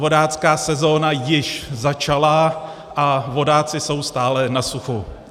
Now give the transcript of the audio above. Vodácká sezóna již začala a vodáci jsou stále na suchu.